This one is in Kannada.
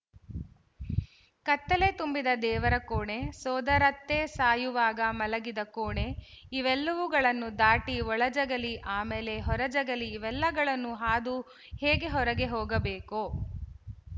ಕತ್ತಲೆ ತುಂಬಿದ ದೇವರ ಕೋಣೆ ಸೋದರತ್ತೆ ಸಾಯುವಾಗ ಮಲಗಿದ ಕೋಣೆ ಇವೆಲ್ಲವುಗಳನ್ನು ದಾಟಿ ಒಳಜಗಲಿ ಆಮೇಲೆ ಹೊರಜಗಲಿ ಇವೆಲ್ಲವುಗಳನ್ನು ಹಾದು ಹೇಗೆ ಹೊರಗೆ ಹೋಗಬೇಕೋ